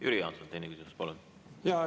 Jüri Jaanson, teine küsimus, palun!